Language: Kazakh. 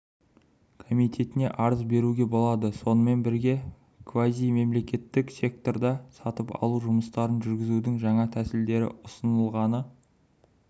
комитетіне арыз беруге болады сонымен бірге квазимемлекеттік секторда сатып алу жұмыстарын жүргізудің жаңа тәсілдері ұсынылғаны